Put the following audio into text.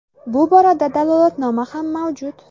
Bu borada dalolatnoma ham mavjud.